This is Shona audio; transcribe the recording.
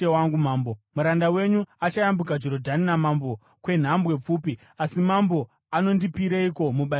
Muranda wenyu achayambuka Jorodhani namambo kwenhambwe pfupi, asi mambo anondipireiko mubayiro wakadai?